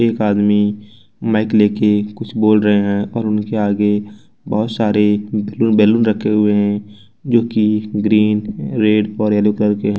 एक आदमी माइक लेके कुछ बोल रहे हैं और उनके आगे बहुत सारे बैलून रखे हुए हैं जोकि ग्रीन रेड और येलो कलर के है।